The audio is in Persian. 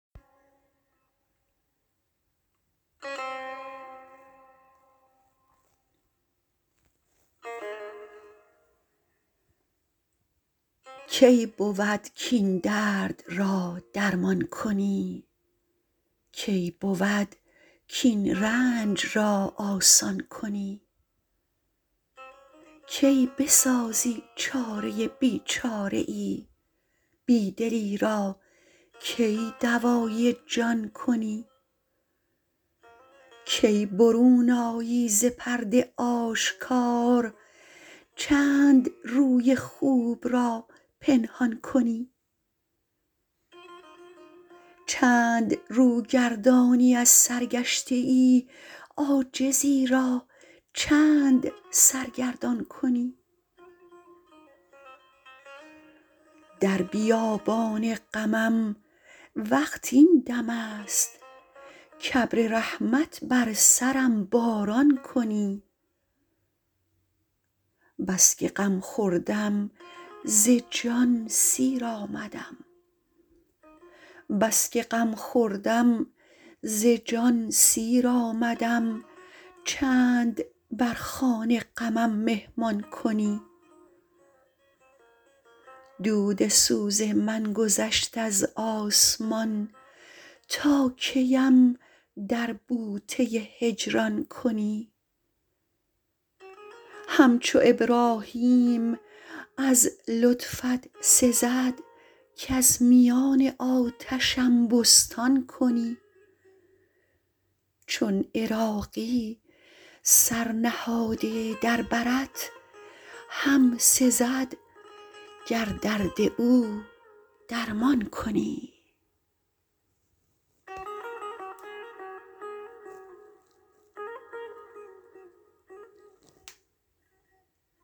کی بود کین درد را درمان کنی کی بود کین رنج را آسان کنی کی بسازی چاره بیچاره ای بی دلی را کی دوای جان کنی کی برون آیی ز پرده آشکار چند روی خوب را پنهان کنی چند رو گردانی از سرگشته ای عاجزی را چند سرگردان کنی در بیابان غمم وقت این دم است کابر رحمت بر سرم باران کنی بسکه غم خوردم ز جان سیر آمدم چند بر خوان غمم مهمان کنی دود سوز من گذشت از آسمان تا کیم در بوته هجران کنی همچو ابراهیم از لطفت سزد کز میان آتشم بستان کنی چون عراقی سر نهاده در برت هم سزد گر درد او درمان کنی